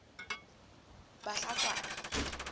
bahlakwana